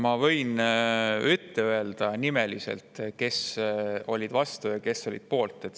Ma võin öelda nimeliselt, kes olid vastu ja kes olid poolt.